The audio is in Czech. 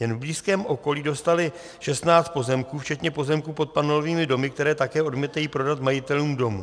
Jen v blízkém okolí dostali 16 pozemků včetně pozemků pod panelovými domy, které také odmítají prodat majitelům domů.